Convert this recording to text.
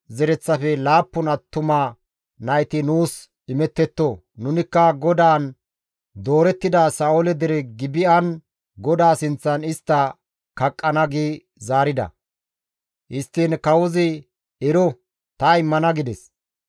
zereththafe laappun attuma nayti nuus imettetto. Nunikka GODAAN doorettida Sa7oole dere Gibi7an GODAA sinththan istta kaqqana» gi zaarida. Histtiin kawozi, «Ero ta immana» gides.